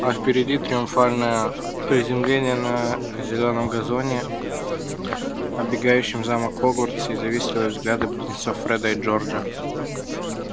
а впереди триумфальное приземление на зелёном газоне обегающем замок хогвартс и завистливые взгляды близнецов фреда и джорджа